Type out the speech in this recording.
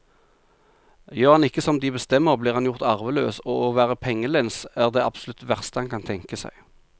Gjør han ikke som de bestemmer, blir han gjort arveløs, og å være pengelens er det absolutt verste han kan tenke seg.